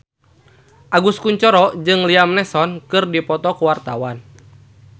Agus Kuncoro jeung Liam Neeson keur dipoto ku wartawan